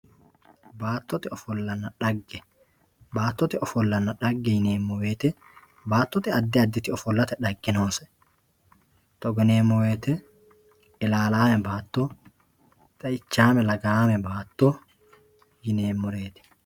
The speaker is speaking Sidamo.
Baatote ofolanna dhagge baatote ofolanna dhage yineemo woyite baatote adi aditi ofolate dhage noose togo yinemo woyite ilaalame baato xeichame lagaame baato yinemoreet.